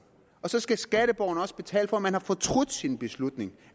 og så skal skatteborgerne også betale for at man har fortrudt sin beslutning